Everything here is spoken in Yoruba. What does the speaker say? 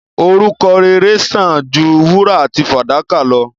Orúkọ rere sán àn ju wúrà àti fàdákà lọ.